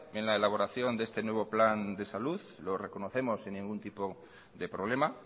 en la elaboración de este nuevo plan de salud lo reconocemos sin ningún tipo de problema